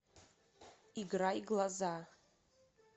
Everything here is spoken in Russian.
играй глаза